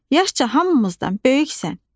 Yaşca hamımızdan böyüksən."